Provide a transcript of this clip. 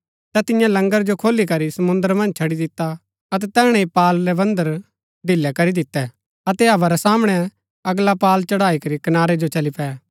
ता तिन्ये लंगर जो खोली करी समुंद्र मन्ज छड़ी दिता अतै तैहणै ही पाल रै बन्धन ढिलै करी दितै अतै हवा रै सामणै अगला पाल चढ़ाईकरी कनारै जो चली पै